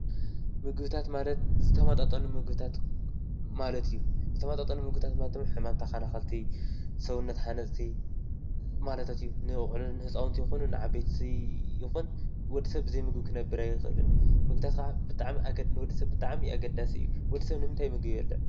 ምብታት ማለት ዝተመጣጠኑ ምግብታት ማለት እዩ፡፡ ዝተመጣጠኑ ምግብታት ማለት ድማ ሕማም ተከላከልቲ ሰውነት ሃነፅቲ ማለታት እዩ፡፡ ንዝኮነ ንህፃውነቲ ይኩን ንዓበይቲ ወዲ ሰብ ብዘይ ምግቢ ክነብር ኣይክእልን፡፡ ምግብታት ከዓ ንወዲ ሰብ ብጣዕሚ ኣገዳሲ እዩ፡፡ ወዲ ሰብ ንምንታይ ምግቢ ይበልዕ፡፡